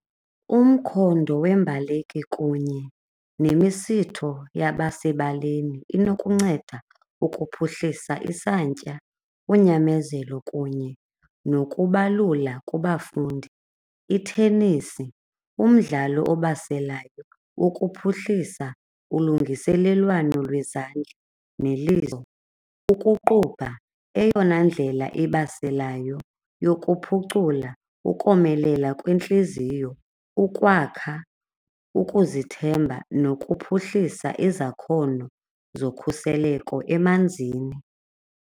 Umkhondo wembaleki kunye nemisitho yabasebaleni inokunceda ukuphuhlisa isantya unyamezelo kunye nokubalula kubafundi, i-tennis umdlalo obaselayo wokuphuhlisa ulungiselelwano lwezandla nolizo. Ukuqubha eyona ndlela ibaselayo yokuphucula ukomelela kwentliziyo, ukwakha, ukuzithemba nokuphuhlisa izakhono zokhuseleko emanzini.